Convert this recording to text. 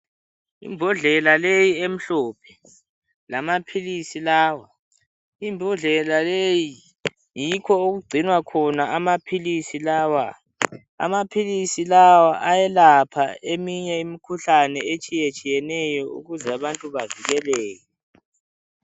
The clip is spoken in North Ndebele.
Imbodlela leyi emhlophe. Lamaphilisi lawa. Imbodlela leyi yikho okugcinwa khona amaphilisi lawa. Amaphilisi lawa ayelapha eminye imikhuhlane etshiyetshiyeneyo ukuze abantu bavikeleke.